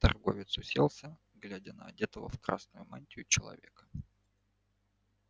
торговец уселся глядя на одетого в красную мантию человека